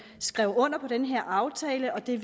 skrev under på den her aftale og det er